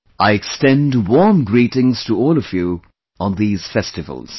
I extend warm greetings to all of you on these festivals